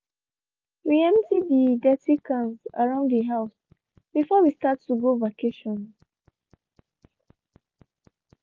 we empty de dirty cans around de house before we start to go vacation.